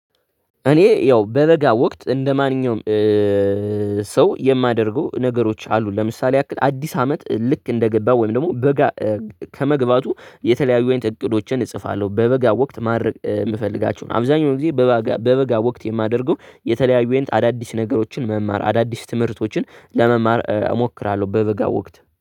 እኔ ያው በ በጋ ወቅት እንደ ማንኛውም ሰው የማደርገው ነገሮች አሉ። ለምሳሌ ያክል አዲስ አመት ልክ እንደገባ ወይም ደግሞ በጋ ከመግባቱ የተለያዩ አይነት እቅዶችን እጽፋለሁ። በበጋ ወቅት ማድረግ የምፈልጋቸውን አብዛኛውን ጊዜ በባጋ በበጋ ወቅት የማደርገው የተለያዩ አይነት አዳዲስ ነገሮችን መማር አዳዲስ ትምህርቶችን ለመማር እሞክራለሁ። በበጋ ወቅት